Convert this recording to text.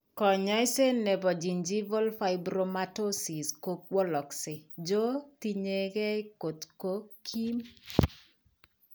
Kany'aaseet ne po gingival fibromatosis ko walakse jo tiyekeey kot ko kiim.